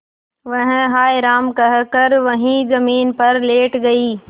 वह हाय राम कहकर वहीं जमीन पर लेट गई